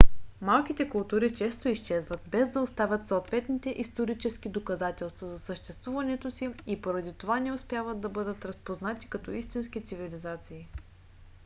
малките култури често изчезват без да оставят съответните исторически доказателства за съществуването си и поради това не успяват да бъдат разпознати като истински цивилизации